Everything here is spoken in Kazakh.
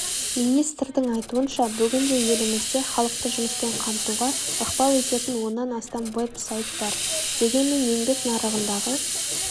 министрдің айтуынша бүгінде елімізде халықты жұмыспен қамтуға ықпал ететін оннан астам веб-сайт бар дегенмен еңбек нарығындағы